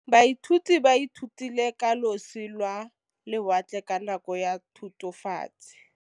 Baithuti ba ithutile ka losi lwa lewatle ka nako ya Thutafatshe.